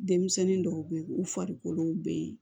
Denmisɛnnin dɔw bɛ ye u farikolo bɛ ye